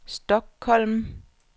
Stockholm